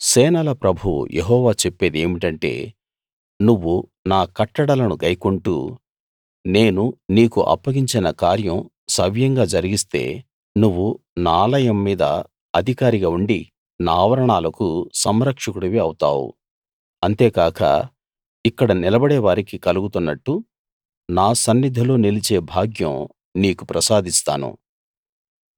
సేనల ప్రభువు యెహోవా చెప్పేది ఏమిటంటే నువ్వు నా కట్టడలను గైకొంటూ నేను నీకు అప్పగించిన కార్యం సవ్యంగా జరిగిస్తే నువ్వు నా ఆలయం మీద అధికారిగా ఉండి నా ఆవరణాలకు సంరక్షకుడివి అవుతావు అంతేకాక ఇక్కడ నిలబడే వారికి కలుగుతున్నట్టు నా సన్నిధిలో నిలిచే భాగ్యం నీకు ప్రసాదిస్తాను